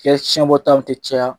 Kɛ tiɲɛbɔtaw te caya